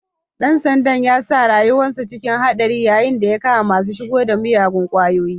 Ɗan sandan ya sa rayuwansa cikin haɗari yayun da ya kama masu shigo da miyagun kwayoyi.